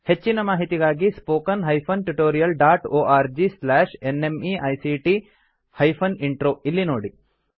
ಹೆಚ್ಚಿನ ಮಾಹಿತಿಗಾಗಿ spoken hyphen tutorial dot org slash NMEICT hyphen intro ಇಲ್ಲಿ ನೋಡಿ